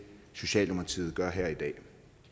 socialdemokratiet gør her i dag